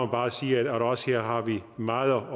bare sige at vi også har meget at